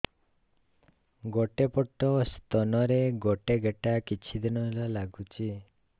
ଗୋଟେ ପଟ ସ୍ତନ ରେ ଗୋଟେ ଗେଟା କିଛି ଦିନ ହେଲା ଲାଗୁଛି